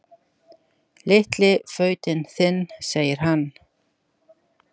Litli fautinn þinn, segir hann.